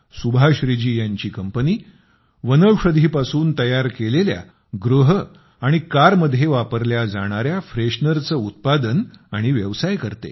सुभाश्री जी यांची कंपनी वनौषधींपासून तयार केलेल्या गृह आणि कारमध्ये वापरल्या जाणाऱ्या फ्रेशनरचे उत्पादन आणि व्यवसाय करतात